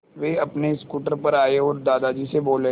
वे अपने स्कूटर पर आए और दादाजी से बोले